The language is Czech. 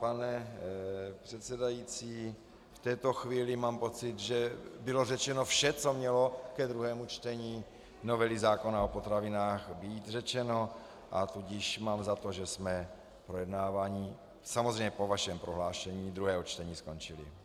Pane předsedající, v této chvíli mám pocit, že bylo řečeno vše, co mělo ke druhému čtení novely zákona o potravinách být řečeno, a tudíž mám za to, že jsme projednávání, samozřejmě po vašem prohlášení, druhé čtení ukončili.